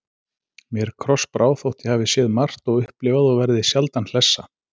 Mér krossbrá, þótt ég hafi séð margt og upplifað og verði sjaldan hlessa.